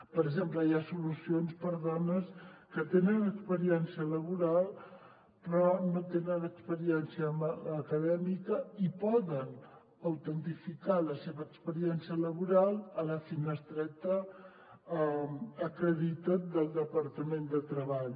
per exemple hi ha solucions per a dones que tenen experiència laboral però no tenen experiència acadèmica i poden autentificar la seva experiència laboral a la finestreta acredita’t del departament de treball